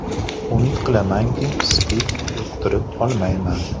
Umid qilamanki, SPID yuqtirib olmayman.